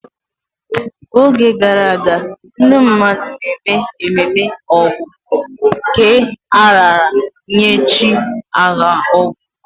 N'oge gara aga, ndị mmadụ na-eme ememe Ọgu, nke a raara nye chi agha, Ọgọ.